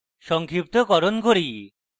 সংক্ষিপ্তকরণ করি